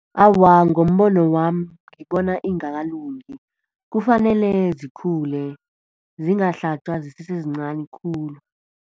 Awa, ngombono wami, ngibona ingakalungi. Kufanele zikhule, zingahlatjwa zisese zincani khulu.